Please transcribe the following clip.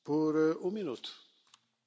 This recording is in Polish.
Szanowny Panie Przewodniczący!